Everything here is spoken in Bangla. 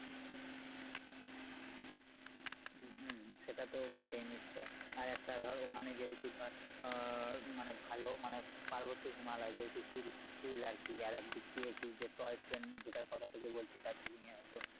হম সেটা তো বটেই নিশ্চয় আর একটা ধর ওখানে যেহুতু ধর হম মানে ভালো মানে পার্বত্য হিমালয় যেহুতু hill~hill আর কি আর এক দিক দিয়ে কি যে toy train জেতার কথা তোকে বলছি দার্জিলিঙে হয়তো